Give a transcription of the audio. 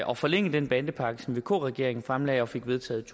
og forlænge den bandepakke som vk regeringen fremlagde og fik vedtaget